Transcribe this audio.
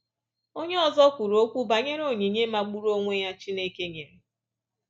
Onye ọzọ kwuru okwu banyere onyinye magburu onwe ya Chineke nyere.